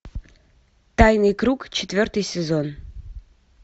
тайный круг четвертый сезон